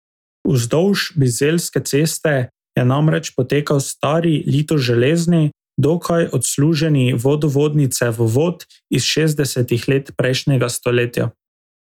Vzdolž Bizeljske ceste je namreč potekal stari litoželezni, dokaj odsluženi vodovodni cevovod iz šestdesetih let prejšnjega stoletja.